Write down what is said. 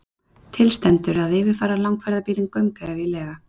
Til stendur að yfirfara langferðabílinn gaumgæfilega